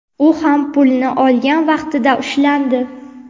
u ham pulni olgan vaqtida ushlandi.